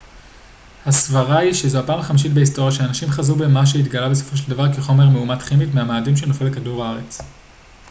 הסברה היא שזו הפעם החמישית בהיסטוריה שאנשים חזו במה שהתגלה בסופו של דבר כחומר מאומת כימית מהמאדים שנופל לכדור הארץ